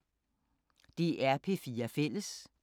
DR P4 Fælles